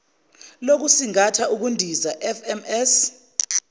lokusingatha ukundiza fms